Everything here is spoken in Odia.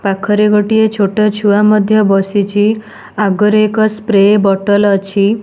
ପାଖରେ ଗୋଟେ ଛୋଟ ଛୁଆ ମଧ୍ୟ ବସିଛି ଆଗ ରେ ଏକ ସ୍ପ୍ରେ ବଟଲେ ଅଛି।